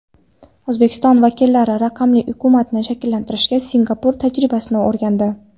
O‘zbekiston vakillari raqamli hukumatni shakllantirishdagi Singapur tajribasini o‘rgandi.